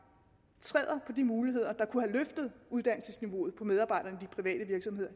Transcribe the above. træder på de muligheder der kunne have løftet uddannelsesniveauet for medarbejderne i de private virksomheder